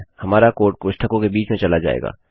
हमारा कोड कोष्ठकों के बीच में चला जायेगा